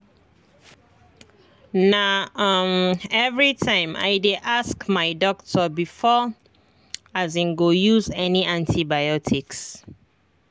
na um everytime i dey ask my doctor before i um go use any antibiotics